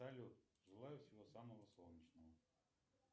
салют желаю всего самого солнечного